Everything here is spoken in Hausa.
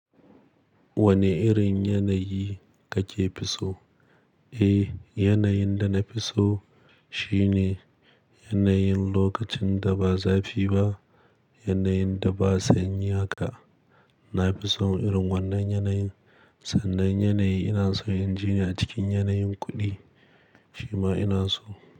Wane irin yanayi kafi so? Eh, yanayin da na fi so shine yanayin lokacin da ba zafi ba, yanayin da ba sanyi haka. Na fi son irin wannan yanayin. Sannan yanayi ina so in ji ni a cikin yanayin kuɗi shima ina so.